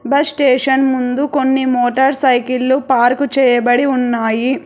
Bus station ముందు కొన్ని motor సైకిల్లు పార్కు చేయబడి ఉన్నాయి.